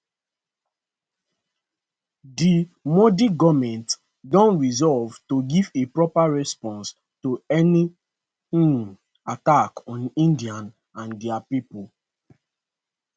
di modi goment don resolve to give a proper response to any um attack on india and dia pipo